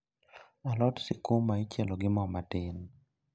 Alot sukuma ichielo gi moo matin